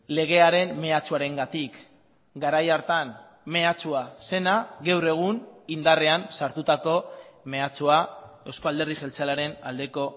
legearen mehatxuarengatik garai hartan mehatxua zena gaur egun indarrean sartutako mehatxua euzko alderdi jeltzalearen aldeko